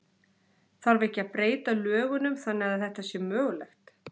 Þarf ekki að breyta lögunum þannig að þetta sé mögulegt?